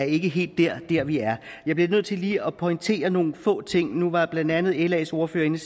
ikke helt er dér vi er jeg bliver nødt til lige at pointere nogle få ting nu var blandt andet las ordfører inde